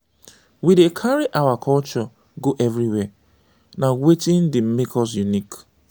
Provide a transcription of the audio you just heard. we dey carry our culture go everywhere; na wetin dey make us unique.